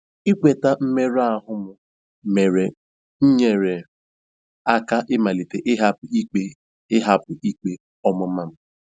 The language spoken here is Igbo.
Ịkweta mmerụ ahụ m mere nyeere m aka ịmalite ịhapụ ikpe ịhapụ ikpe ọmụma m.